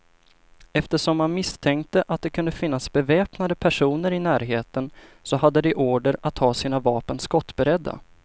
Eftersom man misstänkte att det kunde finnas beväpnade personer i närheten, så hade de order att ha sina vapen skottberedda.